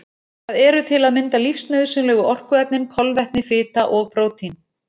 Það eru til að mynda lífsnauðsynlegu orkuefnin kolvetni, fita og prótín.